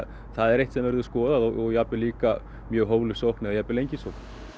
það er eitt sem verður skoðað og jafnvel líka mjög hófleg sókn eða jafnvel engin sókn